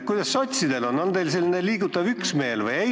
Kuidas sotsidel on, kas teie seas on selline liigutav üksmeel?